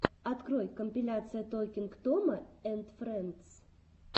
открой компиляция токинг тома энд фрэндс